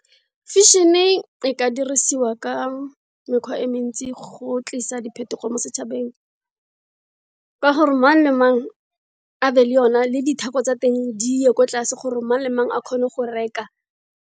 Fashion-e, e ka dirisiwa ka mekgwa e mentsi go tlisa diphetogo mo setshabeng, ka gore mang le mang a be le yone, le ditheko tsa teng di ye ko tlase gore mang le mang a kgone go reka.